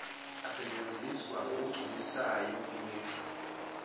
asetshenziswa ngokugculisayo imisho